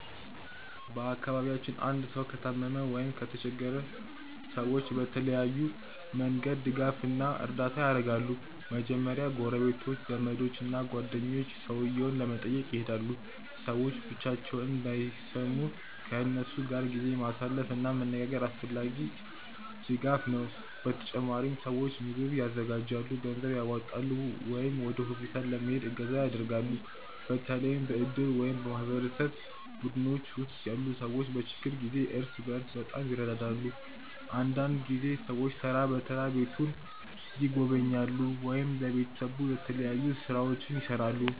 በአካባቢያችን አንድ ሰው ከታመመ ወይም ከተቸገረ ሰዎች በተለያዩ መንገዶች ድጋፍ እና እርዳታ ያደርጋሉ። በመጀመሪያ ጎረቤቶች፣ ዘመዶች እና ጓደኞች ሰውየውን ለመጠየቅ ይሄዳሉ። ሰዎች ብቻቸውን እንዳይሰሙ ከእነሱ ጋር ጊዜ ማሳለፍ እና መነጋገር አስፈላጊ ድጋፍ ነው። በተጨማሪም ሰዎች ምግብ ያዘጋጃሉ፣ ገንዘብ ያዋጣሉ ወይም ወደ ሆስፒታል ለመሄድ እገዛ ያደርጋሉ። በተለይ በእድር ወይም በማህበረሰብ ቡድኖች ውስጥ ያሉ ሰዎች በችግር ጊዜ እርስ በርስ በጣም ይረዳዳሉ። አንዳንድ ጊዜ ሰዎች ተራ በተራ ቤቱን ይጎበኛሉ ወይም ለቤተሰቡ የተለያዩ ሥራዎችን ይሠራሉ።